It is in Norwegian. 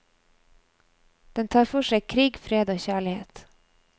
Den tar for seg krig, fred og kjærlighet.